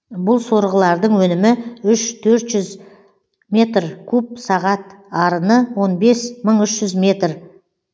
бұл сорғылардың өнімі үш төрт жүз метр куб сағат арыны он бес мың үш жүз метр